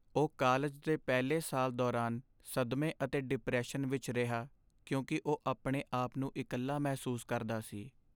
ਉਹ ਕਾਲਜ ਦੇ ਪਹਿਲੇ ਸਾਲ ਦੌਰਾਨ ਸਦਮੇ ਅਤੇ ਡਿਪਰੈਸ਼ਨ ਵਿੱਚ ਰਿਹਾ ਕਿਉਂਕਿ ਉਹ ਆਪਣੇ ਆਪ ਨੂੰ ਇਕੱਲਾ ਮਹਿਸੂਸ ਕਰਦਾ ਸੀ।